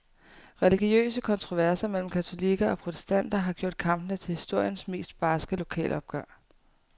Religiøse kontroverser mellem katolikker og protestanter har gjort kampene til historiens mest barske lokalopgør.